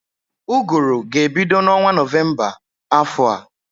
Ụgụrụ ga-ebido n'ọnwa Nọvemba afọ a